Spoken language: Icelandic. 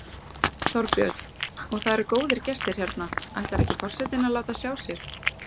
Þorbjörn: Og það eru góðir gestir hérna, ætlar ekki forsetinn að láta sjá sig?